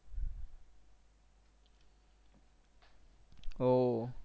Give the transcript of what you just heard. ও